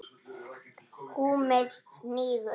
Húmið hnígur.